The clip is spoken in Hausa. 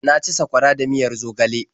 Na ci sakwara da miyar zogale.